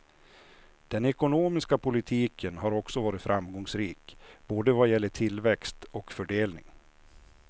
Den ekonomiska politiken har också varit framgångsrik, både vad gäller tillväxt och fördelning.